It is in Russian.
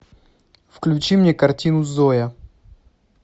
включи мне картину зоя